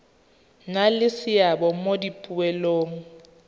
nna le seabe mo dipoelong